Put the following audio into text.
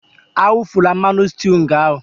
Awufula mmanụ sịtịụ nga ahụ!